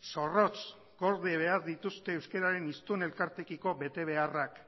zorrotz gorde behar dituzte euskeraren hiztun elkarteekiko betebeharrak